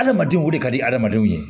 Adamadenw wili ka di hadamadenw ye